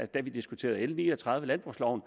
da vi diskuterede l ni og tredive landbrugsloven